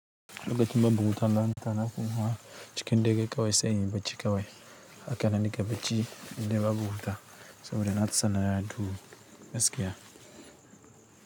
Lokacin babu wuta lantana kuma cikin dare kawai sai inyi bacci kawai haka nan nake bacci indai babu wuta saboda na fi son na nato gaskiya.